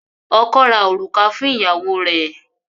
Ọkọ́ ra òrùka fún ìyàwó rẹ.